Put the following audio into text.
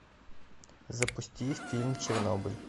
запусти фильм чернобыль